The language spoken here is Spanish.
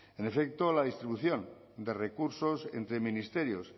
en efecto la distribución de recursos entre ministerios